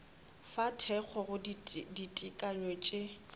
fa thekgo go ditekanyo tše